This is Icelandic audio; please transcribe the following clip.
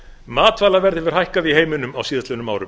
matvælaverð hefur hækkað í heiminum á síðastliðnum árum